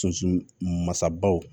Sunsu masabaw